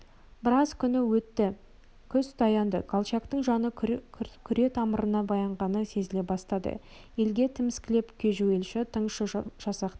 біраз күн өтті күз таянды колчактың жаны күретамырына таянғаны сезіле бастады елге тіміскілеп кежуілші тыңшы жасақтары